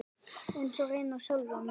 Eins og reyndar sjálfa sig.